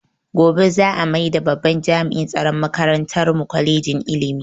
Gobe za a maida babban jami'in tsaron makarantar mu kwalejin ilimi